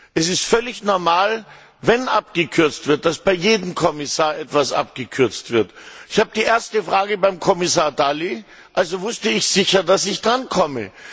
Es ist völlig normal, wenn abgekürzt wird, dass bei jedem Kommissar etwas abgekürzt wird. Ich habe die erste Frage beim Kommissar Dalli, also wusste ich sicher, dass ich drankomme.